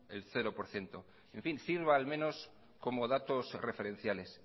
el cero por ciento sirva al menos como datos referenciales